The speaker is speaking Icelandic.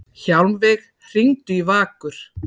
Hjálmveig, hringdu í Vakur.